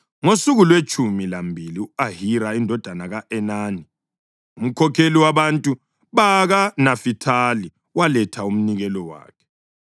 Ngosuku lwetshumi lambili u-Ahira indodana ka-Enani, umkhokheli wabantu bakaNafithali, waletha umnikelo wakhe.